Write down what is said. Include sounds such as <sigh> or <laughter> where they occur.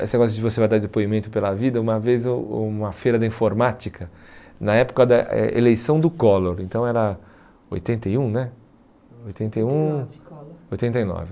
esse negócio de você vai dar depoimento pela vida, uma vez um uma feira da informática, na época da eh eleição do Collor, então era oitenta e um, né? Oitenta e um... <unintelligible> Oitenta e nove.